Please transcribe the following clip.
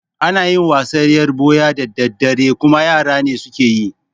Ana yin wasan yar ɓuya da daddare kuma yara ne suke yi